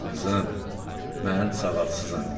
Qızım, mən savadsızam.